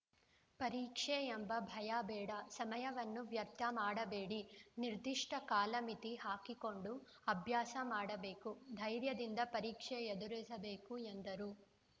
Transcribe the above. ಪರೀಕ್ಷೆ ಎಂಬ ಭಯ ಬೇಡ ಸಮಯವನ್ನು ವ್ಯರ್ಥ ಮಾಡಬೇಡಿ ನಿರ್ದಿಷ್ಟ ಕಾಲಮಿತಿ ಹಾಕಿಕೊಂಡು ಅಭ್ಯಾಸ ಮಾಡಬೇಕು ಧೈರ್ಯದಿಂದ ಪರೀಕ್ಷೆ ಎದುರಿಸಬೇಕು ಎಂದರು